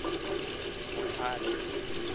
motlhale